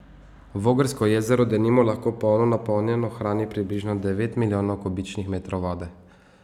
Vogrsko jezero denimo lahko polno napolnjeno hrani približno devet milijonov kubičnih metrov vode.